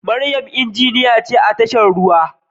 Mariam injiniya ce a tashar ruwa